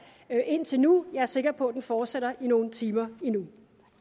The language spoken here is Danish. indtil nu jeg er sikker på at den fortsætter i nogle timer endnu